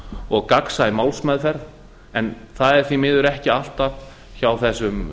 og gagnsæ málsmeðferð en það er því miður ekki alltaf hjá þessum